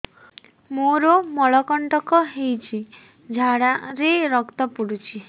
ମୋରୋ ମଳକଣ୍ଟକ ହେଇଚି ଝାଡ଼ାରେ ରକ୍ତ ପଡୁଛି